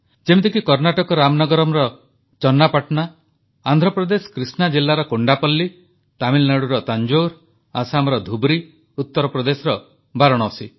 ଯେମିତିକି କର୍ଣ୍ଣାଟକ ରାମନଗରମର ଚନ୍ନାପାଟଣା ଆନ୍ଧ୍ରପ୍ରଦେଶ କୃଷ୍ଣା ଜିଲ୍ଲାର କୋଣ୍ଡାପଲ୍ଲୀ ତାମିଲନାଡ଼ୁର ତାଂଜୋର ଆସାମର ଧୁବ୍ରୀ ଉତ୍ତରପ୍ରଦେଶର ବାରାଣସୀ